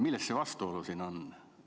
Millest see vastuolu siin on?